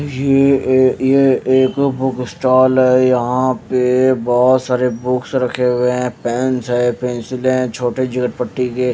ये ए ये एक बुक स्टॉल है यहां पे बहोत सारे बुक्स रखे हुए है पेंस है पेंसिले है छोटे पट्टी के--